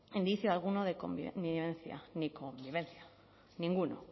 indicio alguno de convi connivencia ni convivencia ninguno